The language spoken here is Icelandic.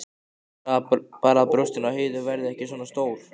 Bara að brjóstin á Heiðu verði ekki svona stór.